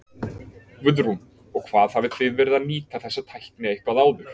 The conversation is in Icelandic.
Guðrún: Og hvað hafið þið verið að nýta þessa tækni eitthvað áður?